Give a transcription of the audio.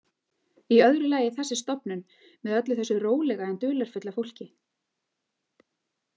Í öðru lagi þessi stofnun með öllu þessu rólega en dularfulla fólki.